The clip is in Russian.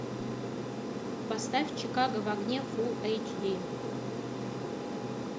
поставь чикаго в огне фулл эйч ди